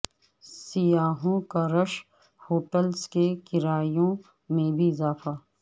سیاحوں کا رش ہوٹلز کے کرایوں میں بھی اضافہ